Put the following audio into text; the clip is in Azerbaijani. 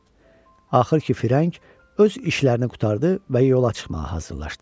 Axır ki, firəng öz işlərini qurtardı və yola çıxmağa hazırlaşdı.